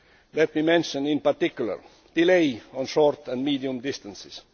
Let me mention, in particular, delay on short and medium distances.